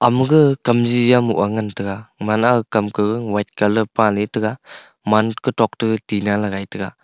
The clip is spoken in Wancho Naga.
maga kamji jamoh a ngan taga mana a kam ka white colour paley tega man kutok tega tinna lagai taiga.